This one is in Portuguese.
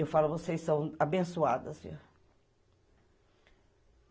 Eu falo, vocês são abençoados